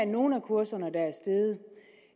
nogle af kurserne det